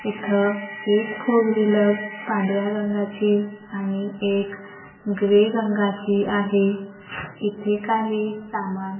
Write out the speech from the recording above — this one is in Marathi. इथं एक फोर व्हीलर पांढऱ्या रंगाची आणि एक ग्रे रंगाची आहे इथे काही सामान--